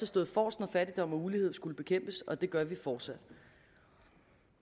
stået forrest når fattigdom og ulighed skulle bekæmpes og det gør vi fortsat